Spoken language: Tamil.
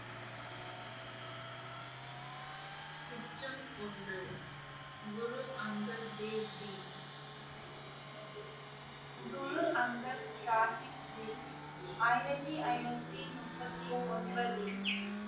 உச்சம் ஒன்று குரு அங்கத் தேவ்ஜீ குரு அங்கது சாஹிப்ஜி ஆயிரத்தி ஐநூற்றி முப்பத்தி ஒன்பதில்